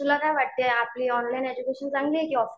तुला काय वाटतंय आपली ऑनलाईन एड्युकेशन चांगली आहे की ऑफलाईन?